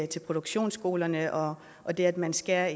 til produktionsskolerne og og det at man skærer